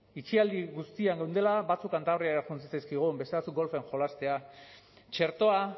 itxialdian guztiak geundela batzuk kantabriara joan zitzaizkigun beste batzuk golfen jolastera txertoa